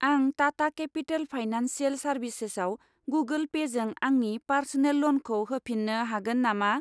आं Tata Capital Financial सार्भिसेसाव Google पेजों आंनि पार्स'नेल ल'नखौ होफिन्नो हागोन नामा?